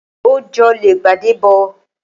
Oj'ole igbade gbo.